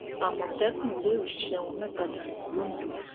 àmọtẹkùn lé òṣìṣẹ wọn mẹta dànù londo